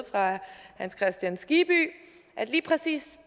hans kristian skibby at lige præcis